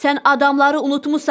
Sən adamları unutmusan.